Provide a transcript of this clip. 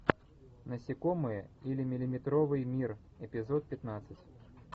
насекомые или миллиметровый мир эпизод пятнадцать